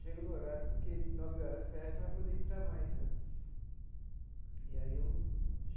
Chega no horário porque nove horas fecha não vai poder entrar mais né e aí eu.